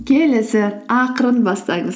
келесі ақырын бастаңыз